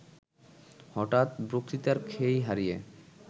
হঠাৎ বক্তৃতার খেই হারিয়ে